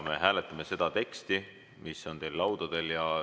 Me hääletame seda teksti, mis on teil laudadel.